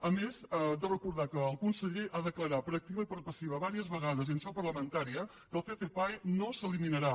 a més de recordar que el conseller ha declarat per activa i per passiva diverses vegades i en seu parlamentària que el ccpae no s’eliminarà